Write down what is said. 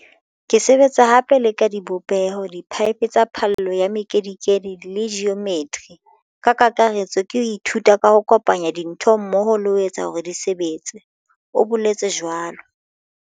"Ke sebetsa hape le ka dibopeho, diphaephe tsa phallo ya mekedikedi le ji ometri. Ka kakaretso ke ho ithuta ho kopanya dintho mmoho le ho etsa hore di sebetse," o boletse jwalo.